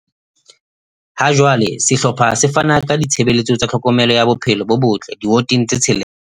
Ha jwale sehlopha se fana ka ditshebeletso tsa tlhokomelo ya bophelo bo botle diwoteng tse tshelela.